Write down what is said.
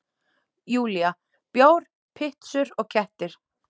Júlía: Bjór, pitsur og kettir.